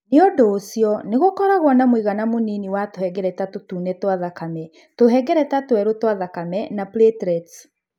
Nĩ ũndũ ũcio, nĩ gũkoragũo na mũigana mũnini wa tũhengereta tũtune twa thakame, tũhengereta tũerũ twa thakame na platelets.